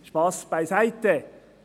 Spass beiseite.